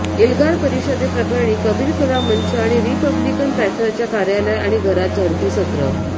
एल्गार परिषदे प्रकरणी कबीर कला मंच आणि रिपब्लिकन पँथरच्या कार्यालय आणि घरात झडतीसत्र